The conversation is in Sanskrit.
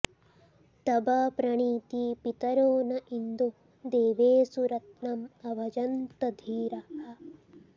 तव॒ प्रणी॑ती पि॒तरो॑ न इन्दो दे॒वेषु॒ रत्न॑मभजन्त॒ धीराः॑